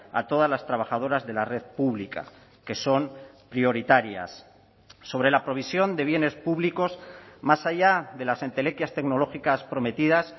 a todas las trabajadoras de la red pública que son prioritarias sobre la provisión de bienes públicos más allá de las entelequias tecnológicas prometidas